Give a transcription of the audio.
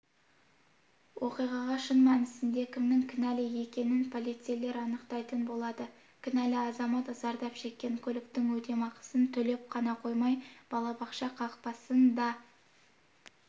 оқиғаға шын мәнісінде кімнің кінәлі екенін полицейлер анықтайтын болады кінәлі азамат зардап шеккен көліктің өтемақысын төлеп қана қоймай балабақша қақпасын да